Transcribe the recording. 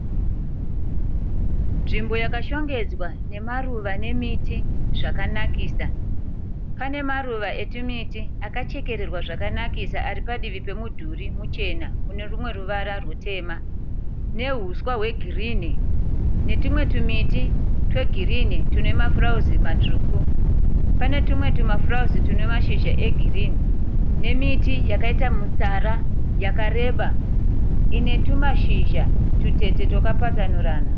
Nzvimbo yakashongedzwa nemaruva nemiti zvakanakisa. Pane maruva etwumiti akachekererwa zvakanakisa ari padivi pemudhuri muchena unerumwe ruvara rutema. Nehuswa hwegirinhi netwumwe twumiti twegirini twune mafurauzi matsvuku. Pane twumwe twumafurauzi twune mashizha egirinhi nemiti yakaita mutsara yakareba ine twumashizha twutete twakapatsanurana.